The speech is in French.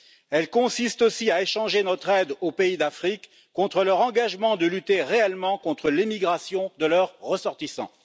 Elle consiste aussi à échanger notre aide aux pays d'Afrique contre leur engagement de lutter réellement contre l'immigration de leurs ressortissants.